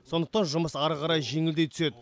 сондықтан жұмыс ары қарай жеңілдей түседі